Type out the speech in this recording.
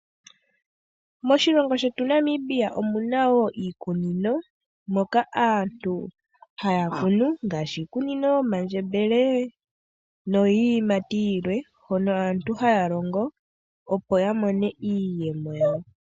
Moshilongo shetu Namibia omuna woo iikunino moka aantu haya kunu ngaashi iikunino yomandjebele no yiiyimati yilwe hono aantu haya longo opo yamone iiyemo yawo .